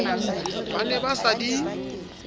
ba ne ba sa di